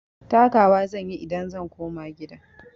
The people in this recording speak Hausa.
Taka wa zan yi idan zan koma gida.